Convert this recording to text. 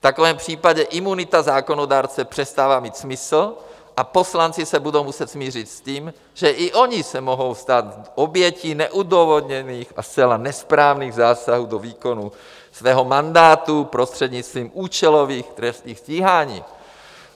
V takovém případě imunita zákonodárce přestává mít smysl a poslanci se budou muset smířit s tím, že i oni se mohou stát obětí neodůvodněných a zcela nesprávných zásahů do výkonu svého mandátu prostřednictvím účelových trestních stíhání.